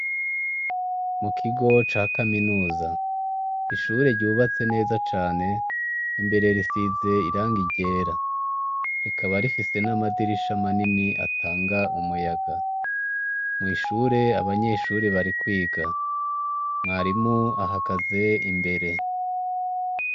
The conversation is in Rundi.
Mu kigo ca kaminuza. Ishure ryubatse neza cane, imbere risize irangi ryra. Rikaba rifise n'amadirisha manini atanga umuya. Mw'ishure abanyeshure bari kwiga, mwarimu ahagaze imbere.